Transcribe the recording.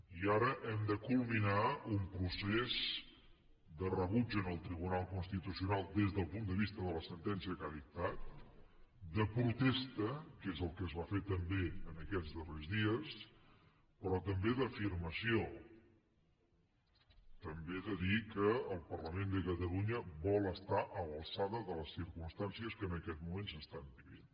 i ara hem de culminar un procés de rebuig en el tribunal constitucional des del punt de vista de la sentència que ha dictat de protesta que és el que es va fer també aquests darrers dies però també d’afirmació també de dir que el parlament de catalunya vol estar a l’alçada de les circumstàncies que en aquest moment s’estan vivint